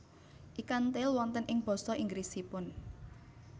Ikan Tail wonten ing basa Inggrisipun